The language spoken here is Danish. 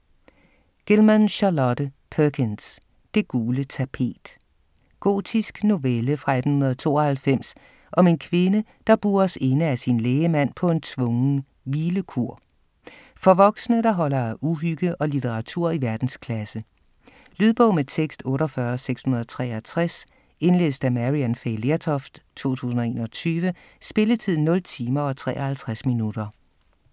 Gilman, Charlotte Perkins: Det gule tapet Gotisk novelle fra 1892 om en kvinde, der bures inde af sin lægemand på en tvungen "hvilekur". For voksne, der holder af uhygge og litteratur i verdensklasse. Lydbog med tekst 48663 Indlæst af Maryann Fay Lertoft, 2021. Spilletid: 0 timer, 53 minutter.